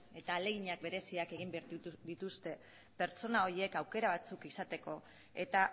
eta ahalegin bereziak egin behar dituzte pertsona horiek aukera batzuk izateko eta